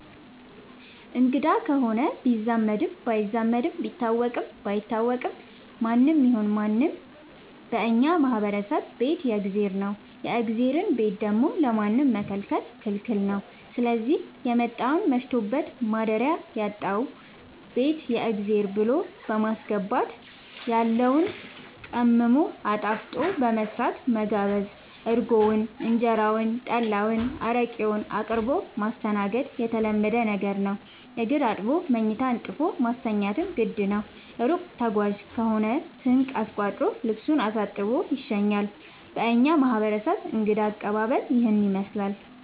አንግዳ ከሆነ ቢዛመድም ባይዛመድም ቢታወቅም ባይታወቅም ማንም ይሁን ምንም በእኛ ማህበረሰብ ቤት የእግዜር ነው። የእግዜርን ቤት ደግሞ ለማንም መከልከል ክልክል ነው ስዚህ የመጣውን መሽቶበት ማደሪያ ያጣውን ቤት የእግዜር ብሎ በማስገባት ያለውን ቀምሞ አጣፍጦ በመስራት መጋበዝ እርጎውን እንጀራውን ጠላ አረቄውን አቅርቦ ማስተናገድ የተለመደ ነገር ነው። እግር አጥቦ መኝታ አንጥፎ ማስተኛትም ግድ ነው። እሩቅ ተጓዥ ከሆነ ስንቅ አስቋጥሮ ልሱን አሳጥቦ ይሸኛል። በእኛ ማህረሰብ እንግዳ አቀባሀል ይህንን ይመስላል።